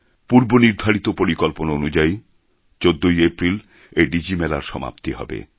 পূর্ব নির্ধারিত পরিকল্পনা অনুযায়ী ১৪ ই এপ্রিল এই ডিজি মেলা র সমাপ্তি হবে